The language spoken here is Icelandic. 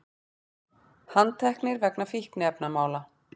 Handteknir vegna fíkniefnamála